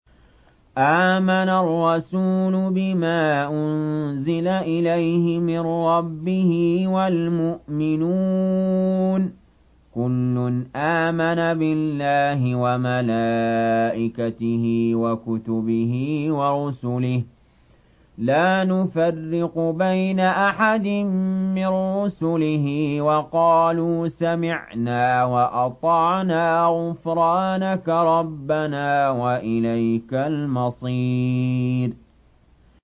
آمَنَ الرَّسُولُ بِمَا أُنزِلَ إِلَيْهِ مِن رَّبِّهِ وَالْمُؤْمِنُونَ ۚ كُلٌّ آمَنَ بِاللَّهِ وَمَلَائِكَتِهِ وَكُتُبِهِ وَرُسُلِهِ لَا نُفَرِّقُ بَيْنَ أَحَدٍ مِّن رُّسُلِهِ ۚ وَقَالُوا سَمِعْنَا وَأَطَعْنَا ۖ غُفْرَانَكَ رَبَّنَا وَإِلَيْكَ الْمَصِيرُ